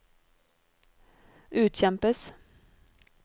utkjempes